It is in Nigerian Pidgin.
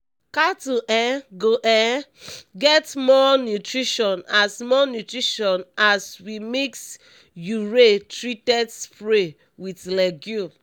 cattle um go um get more nutrition as more nutrition as we mix urea treated stray with legume